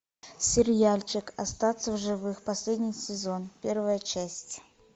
сериальчик остаться в живых последний сезон первая часть